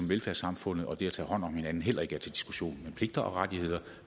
velfærdssamfundet og det at tage hånd om hinanden heller ikke er til diskussion men pligter og rettigheder